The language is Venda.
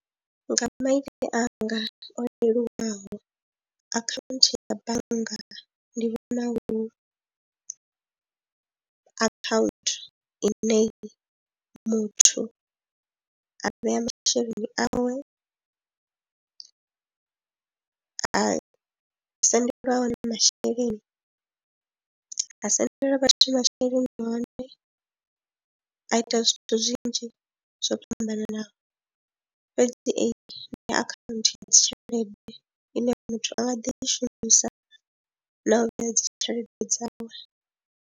Nga maitele anga o leluwaho akhaunthu ya bannga ndi vhona i akhaunthu ine muthu a vhea masheleni awe, ha sendelwa a hone masheleni, ha sendela vhathu masheleni a hone, a ita zwithu zwinzhi zwo fhambananaho fhedzi eyi akhaunthu ya dzi tshelede ine muthu a nga ḓi i shumisa na u vhea dzi tshelede dzawe.